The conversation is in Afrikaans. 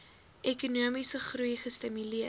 ekonomiese groei gestimuleer